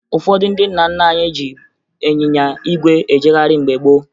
Ụfọdụ ndị nna nna anyị ji ịnyịnya ígwè ejegharị mgbe gboo